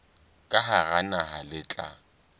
ka hara naha le tla